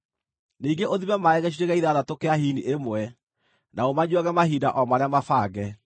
Ningĩ ũthime maaĩ gĩcunjĩ gĩa ithathatũ kĩa hini ĩmwe, na ũmanyuuage mahinda o marĩa mabange.